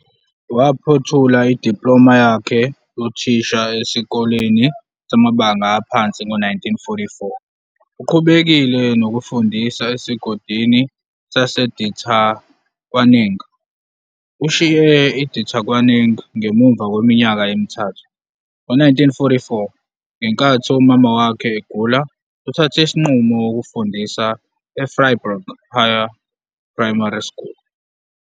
Waphothula idiploma yakhe yothisha esikoleni samabanga aphansi ngo-1944 uqhubekile nokufundisa esigodini saseDithakwaneng. Ushiye uDithakwaneng ngemuva kweminyaka emithathu. Ngo- 1944 ngenkathi umama wakhe egula uthathe isinqumo ukufundisa eVryburg Higher Primary School.